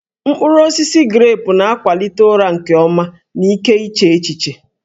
Mkpụrụ osisi grepụ na-akwalite ụra nke ọma na ike iche echiche